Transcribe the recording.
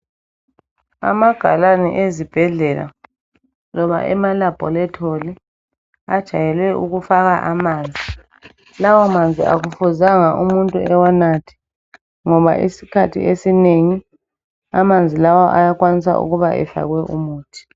Amagalani ezibhedlela loba emalaboratory ajayele ukufaka amanzi, lawa manzi akufuzanga umuntu ewanathe ngoba isikhathi esinengi amanzi lawa ayakwanisa ukuba efakwe umuthi.